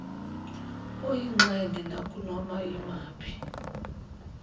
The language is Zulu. oyingxenye nakunoma yimaphi